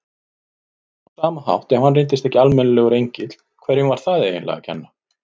Á sama hátt, ef hann reyndist ekki almennilegur engill, hverjum var það eiginlega að kenna?